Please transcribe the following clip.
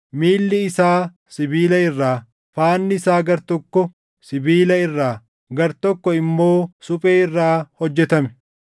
miilli isaa sibiila irraa, faanni isaa gartokko sibiila irraa, gartokko immoo suphee irraa hojjetame.